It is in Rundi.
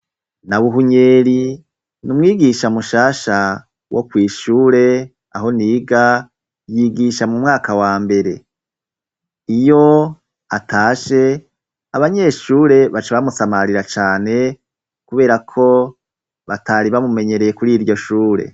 Nabuhunyeri ni umwigisha mushasha wo kwishure aho niga yigisha mu mwaka wa mbere iyo atashe abanyeshure baca bamusamarira cane kubera ko batari bamumenyereye kuri iryo shure